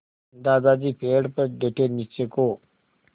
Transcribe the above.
दादाजी पेड़ पर डटे नीचे को